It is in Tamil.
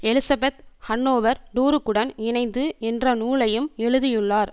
எலிசபெத் ஹன்னோவர் டுரூக்குடன் இணைந்து என்ற நூலையும் எழுதியுள்ளார்